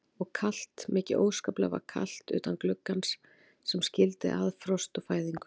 Og kalt, mikið óskaplega var kalt utan gluggans sem skildi að frost og fæðingu.